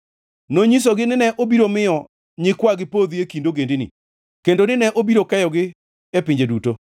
nonyisogi ni ne obiro miyo nyikwagi podhi e kind ogendini, kendo ni ne obiro keyogi e pinje duto.